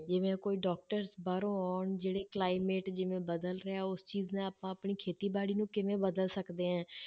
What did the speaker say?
ਜਿਵੇਂ ਕੋਈ doctor ਬਾਹਰੋਂ ਆਉਣ ਜਿਹੜੇ climate ਜਿਵੇਂ ਬਦਲ ਰਿਹਾ ਉਸ ਚੀਜ਼ ਨਾਲ ਆਪਾਂ ਆਪਣੀ ਖੇਤੀਬਾੜੀ ਨੂੰ ਕਿਵੇਂ ਬਦਲ ਸਕਦੇ ਹਾਂ।